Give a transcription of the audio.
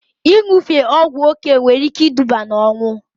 Ịṅụfe ọgwụ oké nwere ike iduba na ọnwụ